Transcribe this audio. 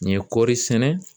N ye kɔɔri sɛnɛ